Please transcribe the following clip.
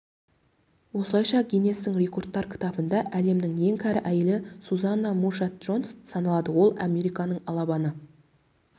осылайша гиннестің рекордтар кітабында әлемнің ең кәрі әйелі сузанна мушатт джонс саналады ол жылы американың алабама